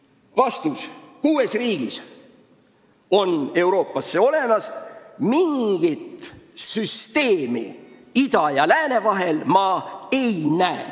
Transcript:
Nõutud vastus: kuues Euroopa riigis on see olemas ning mingit süsteemi ma ida ja lääne vahel ei näe.